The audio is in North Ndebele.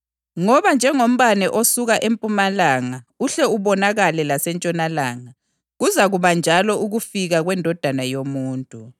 Ngoba njengombane osuka empumalanga uhle ubonakale lasentshonalanga, kuzakuba njalo ukufika kweNdodana yoMuntu.